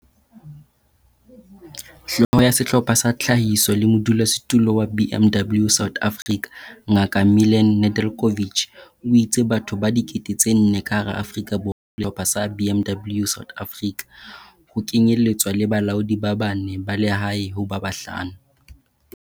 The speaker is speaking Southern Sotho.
Hlooho ya Sehlopha sa Tlhahiso le modulasetulo wa BMW South Africa, Ngaka Milan Nedeljkovic, o itse batho ba 4 000 ka hara Afrika Borwa ba hirilwe ka kotloloho ke Sehlopha sa BMW South Africa, ho kenyeletswa le balaodi ba bane ba lehae ho ba bahlano.